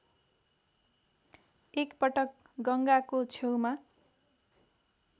एकपटक गङ्गाको छेउमा